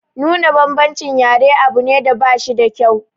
Nuna bambancin yare abu ne da bashi da kyau.